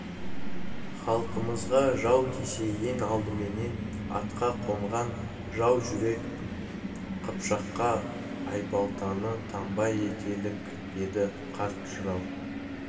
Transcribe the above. халқымызға жау тисе ең алдыменен атқа қонған жау жүрек қыпшаққа айбалтаны таңба етелік деді қарт жырау